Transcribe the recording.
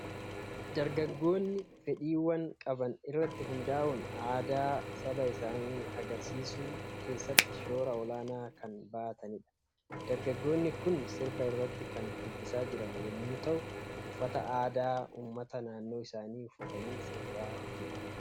Dargaggoonni fedhiiwwan qaban irratti hundaa'uun aadaa saba isaanii agarsiisuu keessatti shoora olaanaa kan bahatanidha. Dargaggoonni kun sirba irratti kan shubbisaa jiran yommuu ta'u, uffata aadaa uummataa naannoo isaanii uffatanii sirbaa jiru.